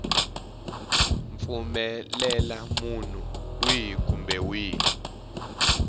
pfumelela munhu wihi kumbe wihi